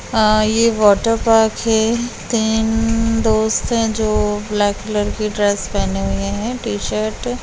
आ ये water park है तीन दोस्त हैं जो ब्लैक कलर की ड्रेस पेहेने हुए है टी-शर्ट ।